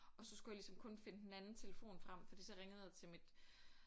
Og så skulle jeg ligesom kun finde den anden telefon frem fordi så ringede jeg til mit